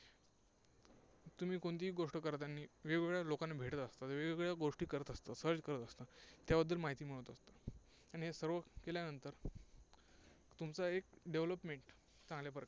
तुम्ही कोणतीही गोष्ट करतानी वेगवेगळ्या लोकांना भेटत असता, वेगवेगळ्या गोष्टी करत असता search करत असता, त्याबद्दल माहिती मिळवत असता. आणि हे सर्व केल्यानंतर तुमचा एक development चांगल्या प्रकारे